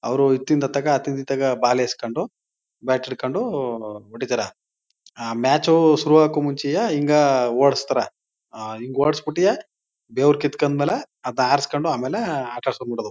ಅವರು ಅತೀನ್ ಇಥಗೆ ಅತೀನ್ ಇಥಗೆ ಬಾಲ್ ಎಸ್ಕೊಂಡು ಬ್ಯಾಟ್ ಇಟ್ಕೊಂಡು ಹೊಡೀತಾರೆ. ಅ ಮ್ಯಾಚ್ ಶುರು ಆಗಾಕು ಮುಂಚೆಯೇ ಇಂಗೆ ಹೊಡಸ್ತಾರೆ ಅಹ್ ಹಿಂಗ್ ಹೊಡ್ಸಿಬಿಟಿಯೇ ಬೆವರ ಕಿಂತ್ಕೊಂಡ ಮೇಲೆ ಅದ ಆರ್ಸೊಕೊಂಡು ಆಮೇಲೆ ಆಟ ಆಡಿಸಿಕೊಂದ್ಬಿಡೋದು.